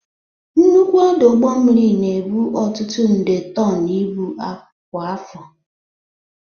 Nnukwu ọdụ ụgbọ mmiri na-ebu ọtụtụ nde tọn ibu kwa afọ.